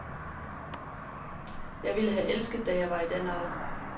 Det ville jeg have elsket, da jeg var i den alder.